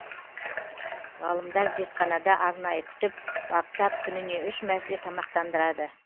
ғалымдар зертханада арнайы күтіп баптап күніне үш мәрте тамақтандырады